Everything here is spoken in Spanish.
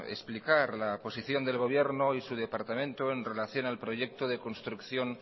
explicar la posición del gobierno y de su departamento en relación al proyecto de construcción